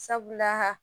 Sabula